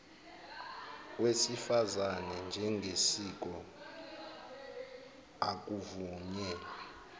wesifazane njengesiko akuvunyelwe